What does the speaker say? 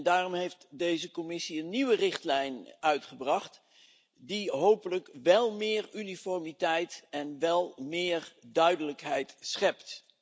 Daarom heeft deze Commissie een nieuwe richtlijn uitgebracht, die hopelijk wel meer uniformiteit en duidelijkheid schept.